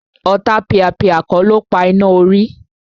Ọ̀tapìàpìà kọ́ ló pa iná orí